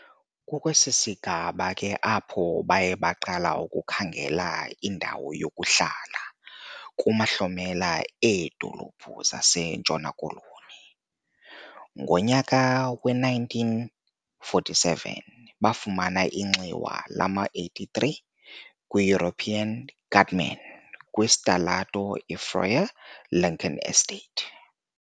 Kukwesi sigaba ke apho baye baqala ukukhangela indawo yokuhlala kumahlomela eedolophu zaseNtshona Koloni. Ngonyaka we-1947, bafumana inxiwa lama-83 kwi 'European' guttman, kwisitalato iFreur, iLincoln estate e.